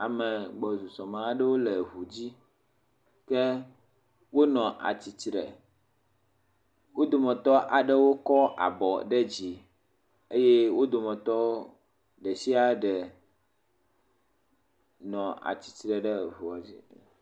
Ame gbɔsɔsɔme aɖewo le ŋudzi. Yɛ wonɔ atsi tre. Wo dometɔ aɖewo kɔ abɔ ɖe dzi. Eye wo dometɔ ɖe sia ɖe nɔ atsi tre ɖe eŋuɔ dzi.